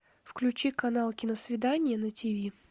включи канал киносвидание на тв